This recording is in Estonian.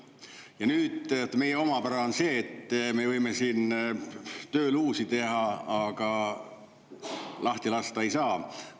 Ja nüüd, meie omapära on see, et me võime siin tööluusi teha, aga lahti lasta ei saa.